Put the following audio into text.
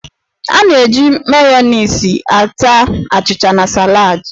A na-eji Mayoniisị ata achịcha na salad.